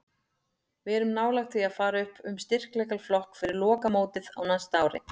Við erum nálægt því að fara upp um styrkleikaflokk fyrir lokamótið á næsta ári.